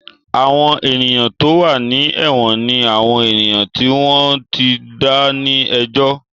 Àwọn ènìyàn tó wà ní èwọ̀n ni àwọn ènìyàn tí wọ́n ò tíì dá ní ẹjọ́